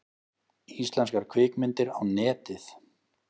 Íslenskar kvikmyndir á Netið